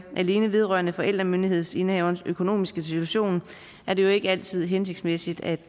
alene vedrører forældremyndighedsindehaverens økonomiske situation er det ikke altid hensigtsmæssigt at